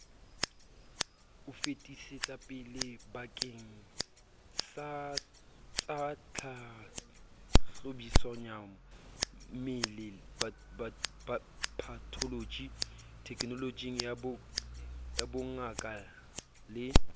o fetisetsapelebakengsatsatlhahlobisoyammele patholoji thekenolojiyabongaka le